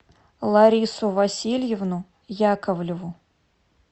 ларису васильевну яковлеву